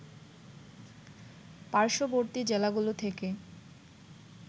পার্শ্ববর্তী জেলাগুলো থেকে